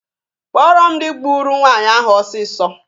Kpọrọ m dị gburu nwaanyị ahụ ọsịsọ!